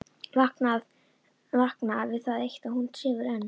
Vakna við það eitt að hún sefur enn.